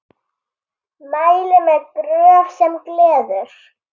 Mæli með Gröf sem gleður.